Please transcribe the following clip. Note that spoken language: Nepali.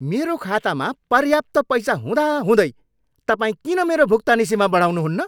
मेरो खातामा पर्याप्त पैसा हुँदाहुँदै तपाईँ किन मेरो भुक्तानी सीमा बढाउनुहुन्न?